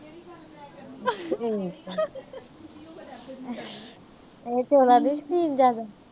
ਇਹ ਚੌਲਾਂ ਦੇ ਸ਼ੌਕੀਨ ਜਿਆਦਾ।